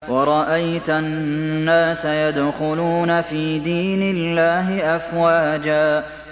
وَرَأَيْتَ النَّاسَ يَدْخُلُونَ فِي دِينِ اللَّهِ أَفْوَاجًا